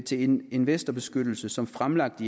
til investorbeskyttelse som fremlagt